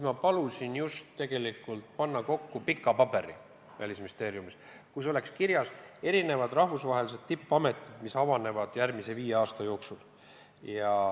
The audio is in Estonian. Ma palusin tegelikult koostada Välisministeeriumis pika paberi, kus oleks kirjas erinevad rahvusvahelised tippametid, mis avanevad järgmise viie aasta jooksul.